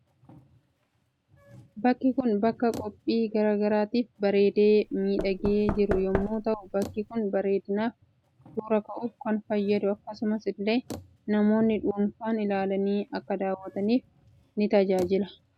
Bakki Kun bakka qophii garaa garaatiif bareedee miidhagee jiru yommuu ta'uu bakki Kun bareedinaaf suura ka'uuf kan fayyadu akkasumas ille namoonni dhufan ilaalani Akka daawwataniif ni tajaajila. Bakka kana hojjechuuf maal maal fayyadamna?